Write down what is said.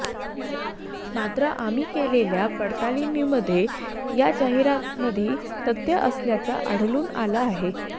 मात्र आम्ही केलेल्या पडताळणीमध्ये या जाहिरातीमध्ये तथ्य असल्याचं आढळून आलं आहे